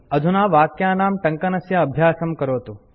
अधुना वाक्यानां टङ्कनस्य अभ्यासं करोतु